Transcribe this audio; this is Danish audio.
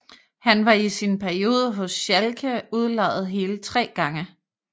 Han var i sin periode hos Schalke udlejet hele tre gange